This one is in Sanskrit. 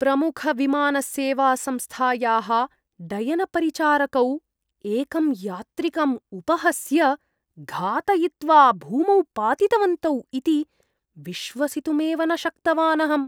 प्रमुखविमानसेवासंस्थायाः डयनपरिचारकौ एकम् यात्रिकम् उपहस्य, घातयित्वा, भूमौ पातितवन्तौ इति विश्वसितुमेव न शक्तवानहम्।